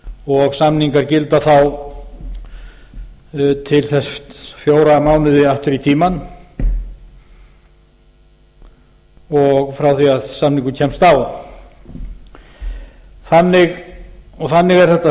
og samningar gilda þá til þess fjóra mánuði aftur í tímann frá því að samningur kemst á þannig er þetta